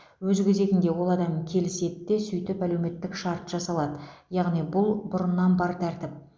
өз кезегінде ол адам келіседі де сөйтіп әлеуметтік шарт жасалады яғни бұл бұрыннан бар тәртіп